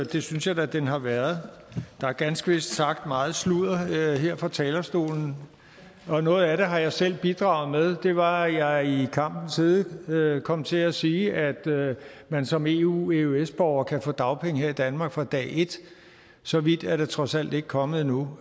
det synes jeg da den har været der er ganske vist sagt meget sludder her fra talerstolen og noget af det har jeg selv bidraget med det var da jeg i kampens hede kom til at sige at man som eu eøs borger kan få dagpenge her i danmark fra dag et så vidt er det trods alt ikke kommet endnu